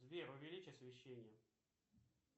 сбер увеличь освещение